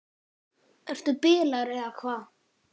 Ertu bilaður eða hvað?